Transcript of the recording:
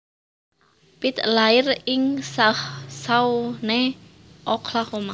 Pitt lair ing Shawnee Oklahoma